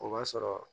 O b'a sɔrɔ